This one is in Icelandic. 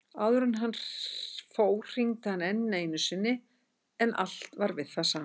Áður en hann fór hringdi hann enn einu sinni en allt var við það sama.